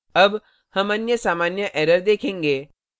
अब हम अन्य सामान्य error देखेंगे